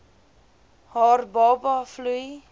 haar baba vloei